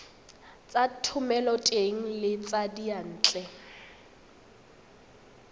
tsa thomeloteng le tsa diyantle